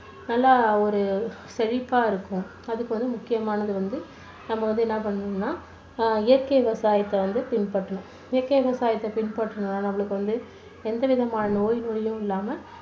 நல்லா ஒரு செழிப்பா இருக்கும். அதுக்கு ஒரு முக்கியமானது வந்து நம்ம வந்து என்ன பண்ணணும்னா அஹ் இயற்கை விவசாயத்தை வந்து பின்பற்றணும். இயற்கை விவசாயத்தை பின்பற்றினா நம்மளுக்கு வந்து எந்த விதமான நோய் நொடியும் இல்லாம